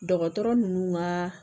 Dɔgɔtɔrɔ ninnu ka